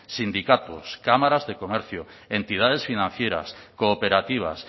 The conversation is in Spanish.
sindicatos cámaras de comercio entidades financieras cooperativas